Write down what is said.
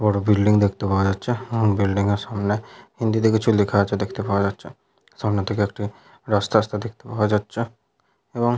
বড় বিল্ডিং দেখতে পাওয়া যাচ্ছে অ্য বিল্ডিং এর সামনে হিন্দিতে কিছু লেখা আছে দেখতে পাওয়া যাচ্ছে সামনের দিকে একটি রাস্তা আসতে দেখতে পাওয়া যাচ্ছে এবং --